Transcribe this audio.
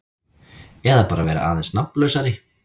Eða bara vera aðeins nafnlausari.